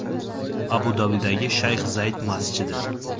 Abu-Dabidagi shayx Zayd masjidi.